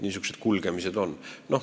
Niisugused on need kulgemised.